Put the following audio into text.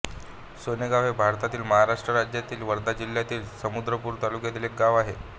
सोनेगाव हे भारतातील महाराष्ट्र राज्यातील वर्धा जिल्ह्यातील समुद्रपूर तालुक्यातील एक गाव आहे